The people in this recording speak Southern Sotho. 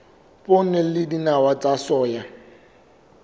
poone le dinawa tsa soya